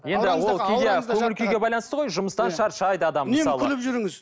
енді ол кейде көңіл күйге де байланысты ғой жұмыстан шаршайды адам мысалы күліп жүріңіз